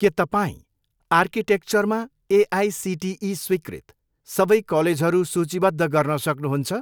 के तपाईँँ आर्किटेक्चरमा एआइसिटिई स्वीकृत सबै कलेजहरू सूचीबद्ध गर्न सक्नुहुन्छ?